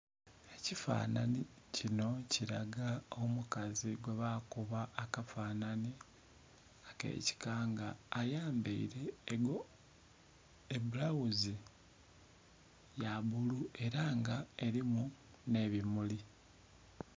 Ekifananhi kinho kilaga omukazi gwe bakuba akafananhi ake kikanga ayambaire bulaghuzi ya bulu era nag erimu nhe bimuli.